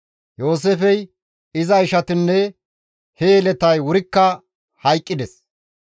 Yooseefey, iza ishatinne he yeletay wurikka hayqqides;